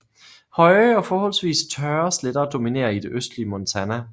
Høje og forholdsvis tørre sletter dominerer i det østlige Montana